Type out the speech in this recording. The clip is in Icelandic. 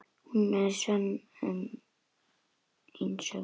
Hún er sönn einsog ég.